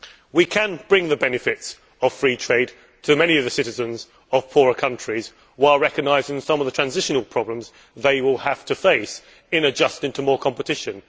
We can bring the benefits of free trade to many of the citizens of poorer countries while recognising some of the transitional problems they will have to face in adjusting to increased competition.